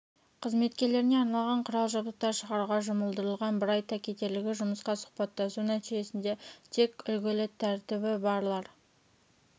қызметкерлеріне арналған құрал-жабдықтар шығаруға жұмылдырылған бір айта кетерлігі жұмысқа сұхбаттасу нәтижесінде тек үлгілі тәртібі барлар